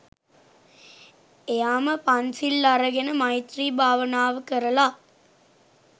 එයාම පන්සිල් අරගෙන මෛත්‍රී භාවනාව කරල